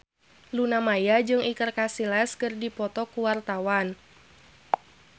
Luna Maya jeung Iker Casillas keur dipoto ku wartawan